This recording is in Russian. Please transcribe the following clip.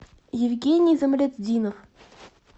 евгений замлетдинов